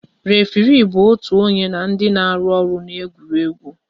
Référé bụ otu onye na ndị na-arụ ọrụ n'egwuregwu